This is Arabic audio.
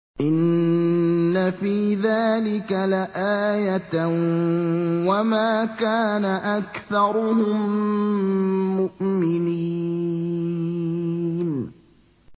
إِنَّ فِي ذَٰلِكَ لَآيَةً ۖ وَمَا كَانَ أَكْثَرُهُم مُّؤْمِنِينَ